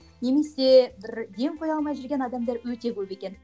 немесе бір ден қоя алмай жүрген адамдар өте көп екен